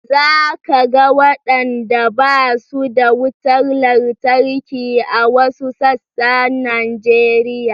Za ka ga wadanda ba su da wutar lantarki a wasu sassan Najeriya